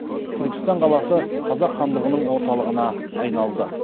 түркістан қаласы қазақ хандығының орталығына айналды